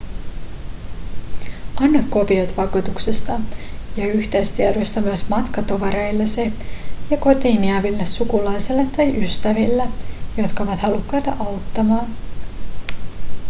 anna kopiot vakuutuksesta ja yhteystiedoista myös matkatovereillesi ja kotiin jääville sukulaisille tai ystäville jotka ovat halukkaita auttamaan